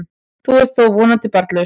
Þú ert þó vonandi barnlaus?